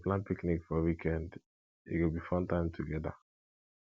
we go plan picnic for weekend e go be fun time together